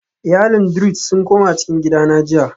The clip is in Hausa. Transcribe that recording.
Iyalin druze sun koma cikin gida na jiya